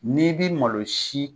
N'i b'i malo si